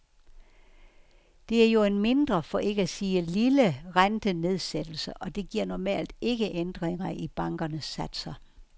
Det er jo en mindre, for ikke at sige lille, rentenedsættelse, og det giver normalt ikke ændringer i bankernes satser.